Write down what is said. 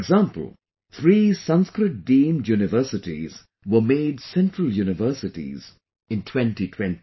For example, three Sanskrit Deemed Universities were made Central Universities in 2020